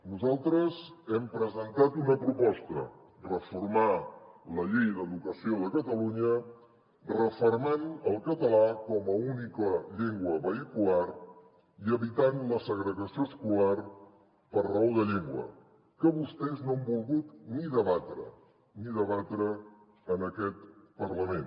nosaltres hem presentat una proposta reformar la llei d’educació de catalunya refermant el català com a única llengua vehicular i evitant la segregació escolar per raó de llengua que vostès no han volgut ni debatre ni debatre en aquest parlament